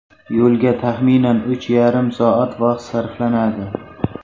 Yo‘lga taxminan uch yarim soat vaqt sarflanadi.